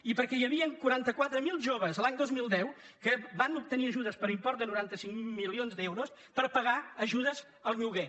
i perquè hi havien quaranta quatre mil joves l’any dos mil deu que van ob·tenir ajudes per import de noranta cinc milions d’euros per pa·gar ajudes al lloguer